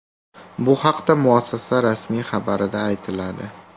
Bu haqda muassasa rasmiy xabarida aytiladi .